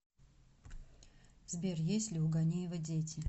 сбер есть ли у ганеева дети